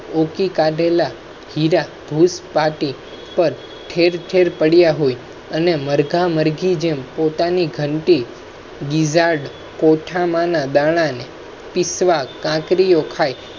ખેર ખેર પડ્યા હોય અને મરઘા મરઘી જે પોતાની ઘંટી કોઠા માંના દાણા ને પીસવા કાંકરીઓ ખાઈ